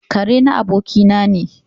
Ƙare na abokina ne.